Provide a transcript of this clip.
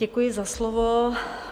Děkuji za slovo.